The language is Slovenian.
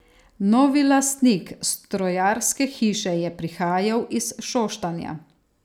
Novi lastnik strojarske hiše je prihajal iz Šoštanja.